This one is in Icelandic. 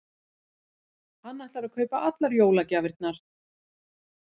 Hann ætlar að kaupa allar jólagjafirnar.